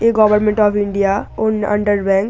A government of India ও under bank.